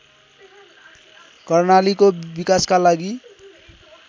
कर्णालीको विकासका लागि